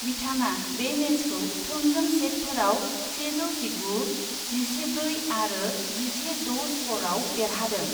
बिथाङा बे मेचखौ थोंजों सेटफोराव सेजौ जिगु, जिसे ब्रै आरो जिसे द' स्करआव देरहादों।